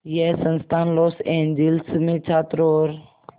यह संस्थान Los Angeles में छात्रों और